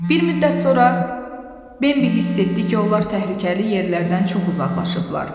Bir müddət sonra Bembi hiss etdi ki, onlar təhlükəli yerlərdən çox uzaqlaşıblar.